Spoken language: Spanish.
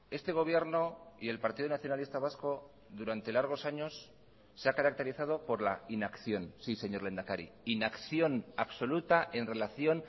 este gobierno y el partido nacionalista vasco durante largos años se ha caracterizado por la inacción sí señor lehendakari inacción absoluta en relación